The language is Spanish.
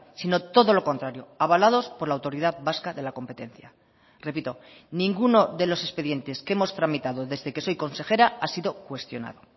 sino todo lo contrario avalados por la autoridad vasca de la competencia repito ninguno de los expedientes que hemos tramitado desde que soy consejera ha sido cuestionado